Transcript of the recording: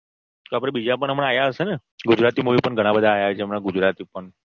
તો આપણે બીજા પણ હમણાં આયા હશે ને ગુજરાતી Movie પણ ઘણા બધા આયા છે હમણાં ગુજરાતી ઉપર